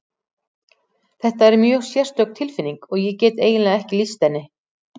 Þetta er mjög sérstök tilfinning og ég get eiginlega ekki lýst henni.